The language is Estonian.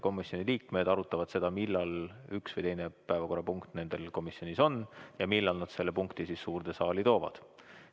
Komisjoni liikmed arutavad seda, millal üks või teine päevakorrapunkt neil komisjonis on ja millal nad selle punkti suurde saali toovad.